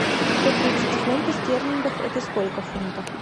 сто тридцать фунтов стерлингов это сколько в фунтах